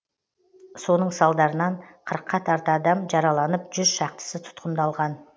соның салдарынан қырыққа тарта адам жараланып жүз шақтысы тұтқындалған